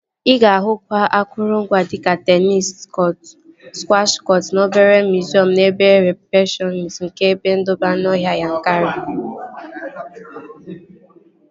Ị ga-ahụkwa akụrụngwa dika teenis kọtụ, skwash kọtụ na obere miziọm n'ebe rịsepshọn nke ebe ndobe anụọhịa Yankari